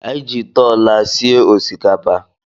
Anyị ji ite ọla sie osikapa.